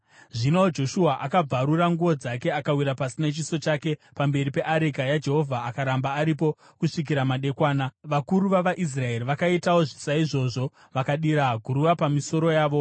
Zvino Joshua akabvarura nguo dzake akawira pasi nechiso chake pamberi peareka yaJehovha akaramba aripo kusvikira madekwana. Vakuru vavaIsraeri vakaitawo saizvozvo, vakadira guruva pamisoro yavo.